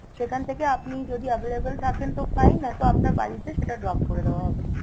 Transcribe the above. সেখানথেকে আপনি যদি available থাকেন তো fine নয়তো আপনার বাড়িতে সেটা drop করে দেয়া হবে